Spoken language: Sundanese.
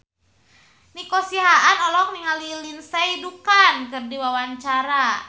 Nico Siahaan olohok ningali Lindsay Ducan keur diwawancara